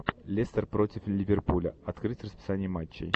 лестер против ливерпуля открыть расписание матчей